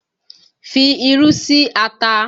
Fi irú sí ata!